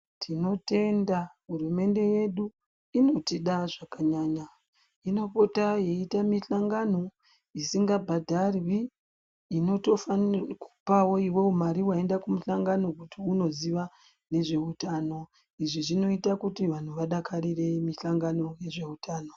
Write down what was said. Tinotenda hurumende yedu inotida zvakanyanya inopota yeiita mihlangano isingabhadharwi inotofanirwa kupawo iwewe mari waenda kumuhlangano kuti unoziva nezveutano izvi zvinoita kuti vanhu vadakarire mihlangano yezveutano.